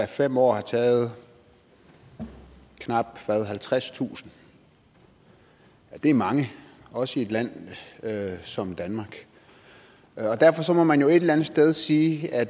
fem år har taget knap halvtredstusind det er mange også i et land som danmark derfor må man jo et eller andet sted sige at